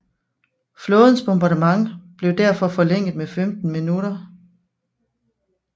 Flådens bombardement blev derfor forlænget med 15 minutter